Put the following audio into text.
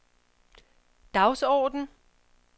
dagsorden